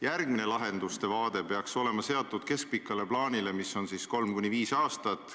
Järgmine lahenduste vaade peaks olema seatud keskpikale plaanile, mis on 3–5 aastat.